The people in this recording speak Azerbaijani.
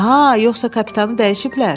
Aha, yoxsa kapitanı dəyişiblər?